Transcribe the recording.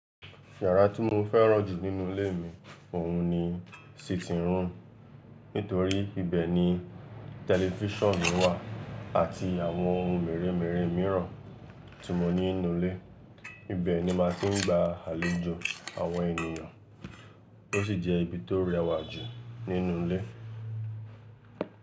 Yàrá tí mo fẹ́ràn jù nínú ilé mi òun ni sitting room. Nítorí ibẹ̀ ni tẹlifísàn mi wà àti àwọn ohun mèremère míràn tí mo ní nínú ilé. Ibẹ̀ ni màá ti ń gba àlejò àwọn ènìyàn, ó sì jẹ́ ibi tó rẹwà jù nínú ilé.